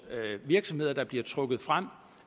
virksomheder der bliver trukket frem